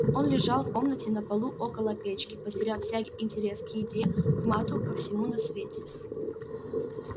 он лежал в комнате на полу около печки потеряв всякий интерес к еде к матту ко всему на свете